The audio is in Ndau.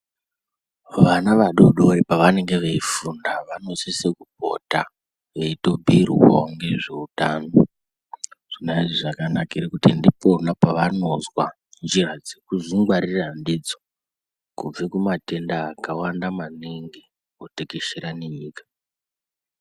Vana vadoodori pavanenge veifunda vanosisa kupota veitobhuyirwa nezveutano zvona izvi zvakanakire pakuti ndipona pavanozwa njira dzekuzvingwarira ndidzo kubve kumatenda akawanda maningi otekeshera nenyika.